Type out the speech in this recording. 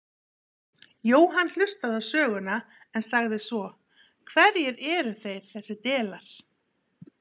Jóhann hlustaði á söguna en sagði svo: Hverjir eru þeir þessir delar?